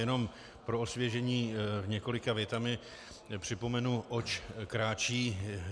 Jenom pro osvěžení několika větami připomenu, oč kráčí.